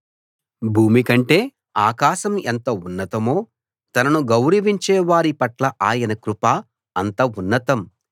భూమికంటే ఆకాశం ఎంత ఉన్నతమో తనను గౌరవించేవారి పట్ల ఆయన కృప అంత ఉన్నతం